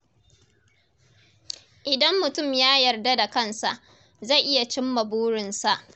Idan mutum ya yarda da kansa, zai iya cimma burinsa.